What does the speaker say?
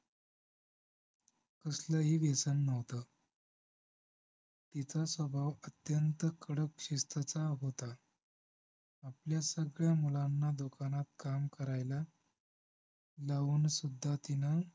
कसलंही व्यसन नव्हतं तिचा स्वभाव अत्यंत कडक शिस्तीचा होता आपल्या सगळ्या मुलांना दुकानात काम करायला लावून सुद्धा तिनं